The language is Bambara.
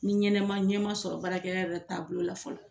Ni ɲɛnɛma ɲɛma sɔrɔ baarakɛ taabolo la fɔlɔ